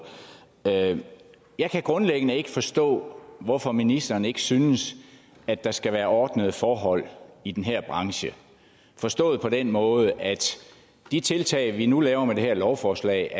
jeg kan grundlæggende ikke forstå hvorfor ministeren ikke synes at der skal være ordnede forhold i den her branche forstået på den måde at de tiltag vi nu laver med det her lovforslag